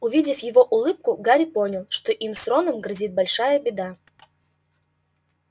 увидев его улыбку гарри понял что им с роном грозит большая беда